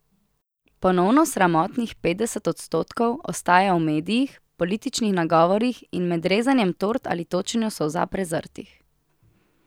Ponovno sramotnih petdeset odstotkov ostaja v medijih, političnih nagovorih in med rezanjem tort ali točenju solza prezrtih.